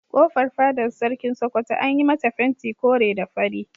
Kofar fadar Sarkin Sokoto an yi mata fenti kore da fari.